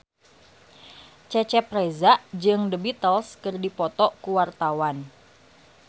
Cecep Reza jeung The Beatles keur dipoto ku wartawan